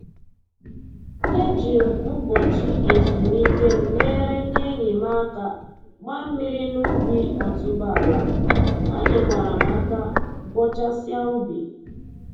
E ji m ụbọchị ezumike m nyere ndị enyi m aka gbaa mmiri n'ubi otuboala, ha nyekwara m aka bọchasịa ubi